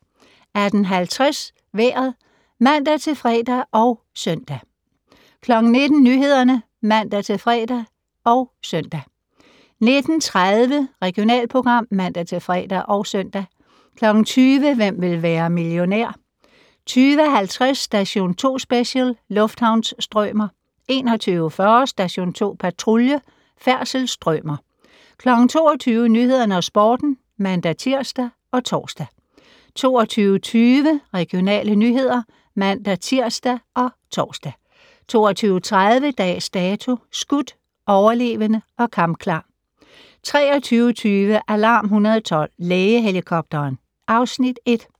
18:50: Vejret (man-fre og -søn) 19:00: Nyhederne (man-fre og -søn) 19:30: Regionalprogram (man-fre og -søn) 20:00: Hvem vil være millionær? 20:50: Station 2 Special: Lufthavnsstrømer 21:40: Station 2 Patrulje: Færdselsstrømer 22:00: Nyhederne og Sporten (man-tir og tor) 22:20: Regionale nyheder (man-tir og tor) 22:30: Dags Dato: Skudt, overlevende og kampklar 23:20: Alarm 112 - Lægehelikopteren (Afs. 1)